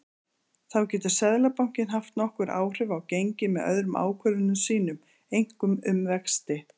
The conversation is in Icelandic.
Þá getur Seðlabankinn haft nokkur áhrif á gengi með öðrum ákvörðunum sínum, einkum um vexti.